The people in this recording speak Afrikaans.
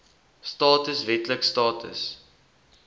status wetlike status